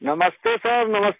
नमस्ते सिर नमस्ते